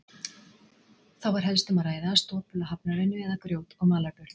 Þá var helst um að ræða stopula hafnarvinnu, eða grjót- og malarburð.